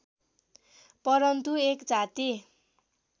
परन्तु एक जाति